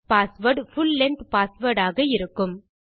password full length password ஆக இருக்கும்